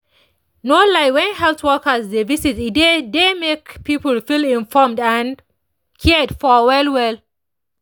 no lie when health workers dey visit e dey dey make people feel informed and cared for well well